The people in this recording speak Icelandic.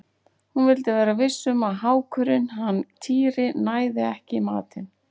Hún vildi vera viss um að hákurinn hann Týri næði ekki í matinn.